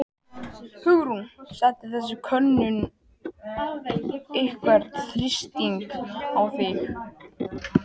Hugrún: Setur þessi könnun einhvern þrýsting á þig?